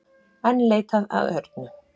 Enn leitað að Örnu